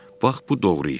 Bax bu doğru işdir.